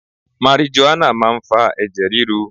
Marijuana máa ń fa ẹ̀jẹ̀ ríru.